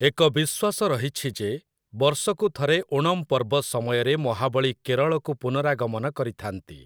ଏକ ବିଶ୍ୱାସ ରହିଛି ଯେ, ବର୍ଷକୁ ଥରେ ଓଣମ୍ ପର୍ବ ସମୟରେ ମହାବଳୀ କେରଳକୁ ପୁନରାଗମନ କରିଥା'ନ୍ତି ।